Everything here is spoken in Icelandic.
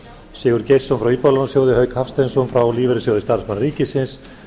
sigurð geirsson frá íbúðalánasjóði hauk hafsteinsson frá lífeyrissjóði starfsmanna ríkisins